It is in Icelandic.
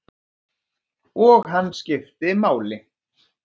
Og hann skipti máli.